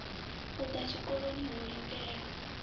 u ḓa tshikoloni ho lindelwa